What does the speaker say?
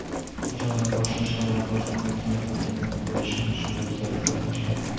Ijodni boshlashdan avval faqatgina fortepiano bo‘yicha mashg‘ulotlarga qatnagan.